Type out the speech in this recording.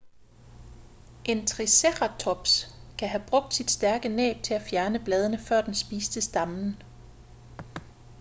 en triceratops kan have brugt sit stærke næb til at fjerne bladene før den spiste stammen